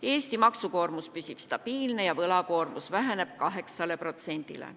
Eesti maksukoormus püsib stabiilne ja võlakoormus väheneb 8%-le.